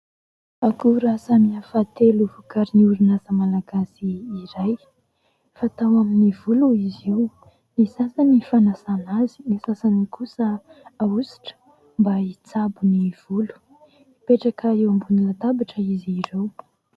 Akora samihafa telo, vokarin'ny orinasa malagasy iray. Fatao amin'ny volo izy io, ny sasany fanasana azy, ny sasany kosa ahosotra mba hitsabo ny volo. Mipetraka eo ambony latabatra izy ireo.